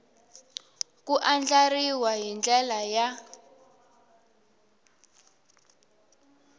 ku andlariwa hi ndlela ya